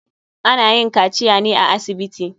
Ana yin kaciya ne a asibiti.